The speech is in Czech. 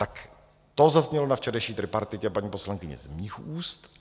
Tak to zaznělo na včerejší tripartitě, paní poslankyně, z mých úst.